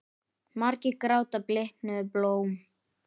Margir gráta bliknuð blóm.